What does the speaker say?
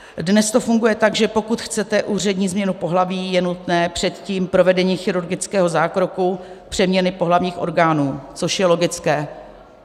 Dnes to funguje tak, že pokud chcete úřední změnu pohlaví, je nutné předtím provedení chirurgického zákroku přeměny pohlavních orgánů, což je logické.